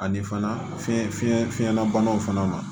Ani fana fiɲɛ fiɲɛ fiɲɛnabanaw fana ma